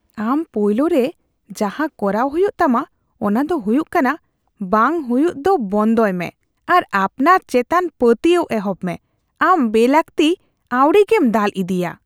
ᱟᱢ ᱯᱳᱭᱞᱳᱨᱮ ᱡᱟᱦᱟᱸ ᱠᱚᱨᱟᱣ ᱦᱩᱭᱩᱜ ᱛᱟᱢᱟ ᱚᱱᱟ ᱫᱚ ᱦᱩᱭᱩᱜ ᱠᱟᱱᱟ ᱵᱟᱝᱼᱟ ᱦᱩᱭᱩᱜ ᱫᱚ ᱵᱚᱱᱫᱚᱭ ᱢᱮ ᱟᱨ ᱟᱯᱱᱟᱨ ᱪᱮᱛᱟᱱ ᱯᱟᱹᱛᱭᱟᱹᱣ ᱮᱦᱚᱵ ᱢᱮ᱾ ᱟᱢ ᱵᱮᱞᱟᱹᱠᱛᱤ ᱟᱹᱣᱲᱤᱜᱮᱢ ᱫᱟᱞ ᱤᱫᱤᱜᱼᱟ ᱾